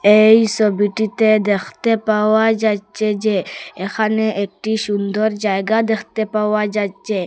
এই ছবিটিতে দেখতে পাওয়া যাইচ্ছে যে এখানে একটি সুন্দর জায়গা দেখতে পাওয়া যাচ্ছে।